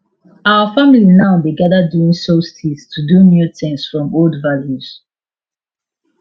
our family now dey gather during solstice to do new thing from old values